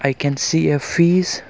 we can see a fish.